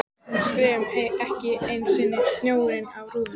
Hún skefur ekki einu sinni snjóinn af rúðunum!